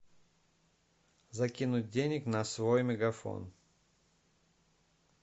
закинуть денег на свой мегафон